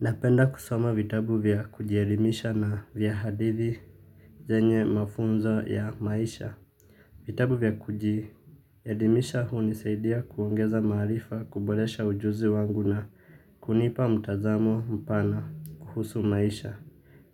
Napenda kusoma vitabu vya kujielimisha na vya hadithi. Zenye mafunzo ya maisha vitabu vya kujielimisha hunisaidia kuongeza maarifa kuboresha ujuzi wangu na kunipa mtazamo mpana kuhusu maisha.